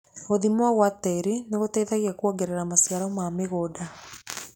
Gũthimwo gwa tĩĩri nĩgũteithagia kũongerera maciaro ma mũgũnda.